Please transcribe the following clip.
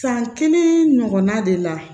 San kelen ɲɔgɔnna de la